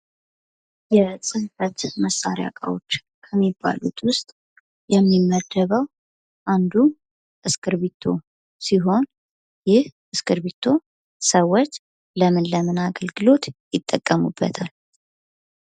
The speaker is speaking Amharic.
የጽንፈት መሳሪያ ዕቃዎች ከሚባሉት ውስጥ የሚመደበው አንዱ እስክርቢቶ ሲሆን ይህ እስክርቢቶ ሰዎች ለምን ለምን አገልግሎት ይጠቀሙበታል?